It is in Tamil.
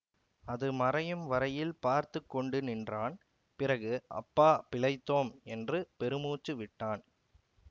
அது மறையும் வரையில் பார்த்து கொண்டு நின்றான் பிறகு அப்பா பிழைத்தோம் என்று பெருமூச்சு விட்டான்